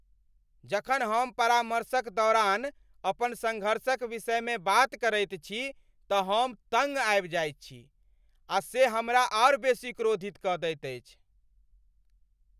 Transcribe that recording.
जखन हम परामर्शक दौरान अपन सँघर्षक विषयमे बात करैत छी तँ हम तँग आबि जाइत छी। आ से हमरा आर बेसी क्रोधित कऽ दैत अछि।